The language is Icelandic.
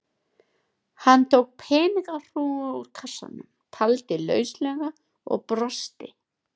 Hann tók peningahrúgu úr kassanum, taldi lauslega og brosti.